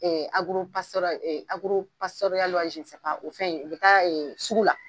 o fɛn in u bɛ taa sugu la.